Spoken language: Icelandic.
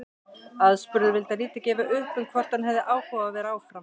Aðspurður vildi hann lítið gefa upp um hvort hann hefði áhuga á að vera áfram.